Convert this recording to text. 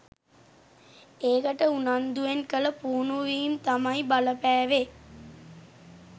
ඒකට උනන්දුවෙන් කළ පුහුණුවීම් තමයි බලපෑවෙ